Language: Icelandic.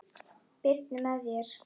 Birnu með þér.